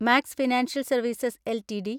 max financial services LTD